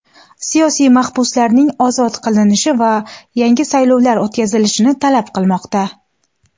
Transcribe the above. siyosiy mahbuslarning ozod qilinishini va yangi saylovlar o‘tkazilishini talab qilmoqda.